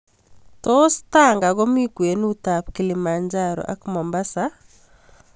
Tos' tanga komi kwenutab Kilimanjaro ak Mombasa